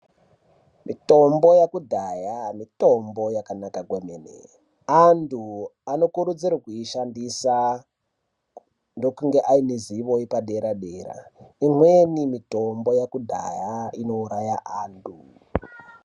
Mitombo yekudhaya mitombo inoshanda kwemene antu anokurudzirwa kuishandisa ndokunge ame zivo yepadera dera imweni mitombo yekudhaya inouraya antu.